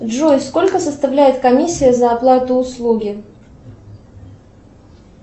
джой сколько составляет комиссия за оплату услуги